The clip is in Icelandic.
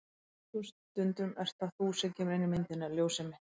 En á slíkum stundum ert það þú sem kemur inn í myndina. ljósið mitt.